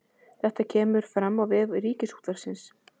Þetta kemur fram á vef Ríkisútvarpsins